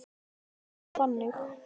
Það er ritað þannig